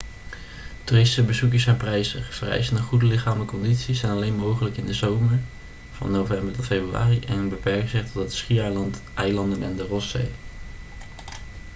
toeristische bezoekjes zijn prijzig vereisen een goede lichamelijke conditie zijn alleen mogelijk in de zomer van november tot februari en beperken zich tot het schiereiland eilanden en de rosszee